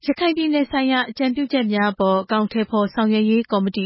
ရခိုင်ပြည်နယ်ဆိုင်ရာ အကြံပြုချက်များ အကောင်အထည်ဖော်ရေးကော်မတီ